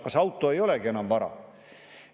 Kas auto ei olegi enam vara?